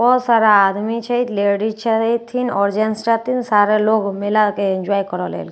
बहुत सारा आदमी छै लेडीज छथिन आओर जेन्ट्स छथिन आओर सारा लोग मेला के इंजॉय करै लए एलथिन --